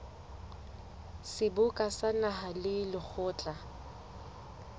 seboka sa naha le lekgotla